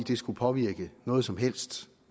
det skulle påvirke noget som helst